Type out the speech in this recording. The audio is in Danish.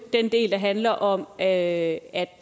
den del der handler om at